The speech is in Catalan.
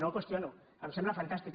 no el qüestiono em sembla fantàstic